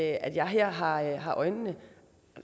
at jeg her har har øjnene